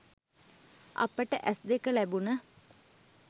අපට ඇස් දෙක ලැබුණ